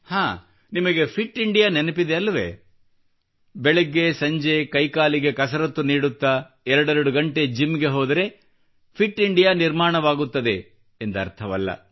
ಹಾಂ ನಿಮಗೆ fit India ನೆನಪಿದೆ ಅಲ್ಲವೆ ಬೆಳಿಗ್ಗೆ ಸಂಜೆ ಕೈಕಾಲಿಗೆ ಕಸರತ್ತು ನೀಡುತ್ತಾ ಎರಡೆರಡು ಗಂಟೆ ಜಿಮ್ ಗೆ ಹೋದರೆ ಫಿಟ್ ಇಂಡಿಯಾ ನಿರ್ಮಾಣವಾಗುತ್ತದೆ ಎಂದರ್ಥವಲ್ಲ